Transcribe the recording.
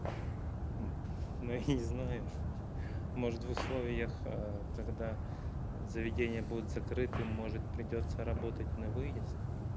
ну я не знаю может в условиях когда заведения будут закрыты может придётся работать на выезд